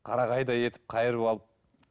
қарағайдай етіп қайырып алып